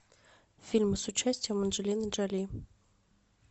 фильмы с участием анджелины джоли